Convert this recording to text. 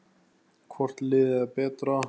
Hvort liðið er betra?